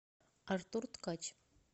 артур ткач